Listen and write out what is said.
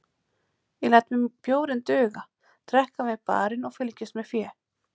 Ég læt mér bjórinn duga, drekk hann við barinn og fylgist með fé